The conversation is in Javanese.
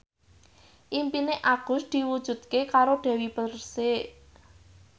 impine Agus diwujudke karo Dewi Persik